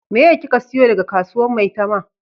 Meye ki ka siyo daga kasuwan maitama?